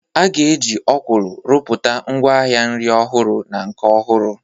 A ga-eji Okwulu rụpụta ngwaahịa nri ọhụrụ na nke ọhụrụ.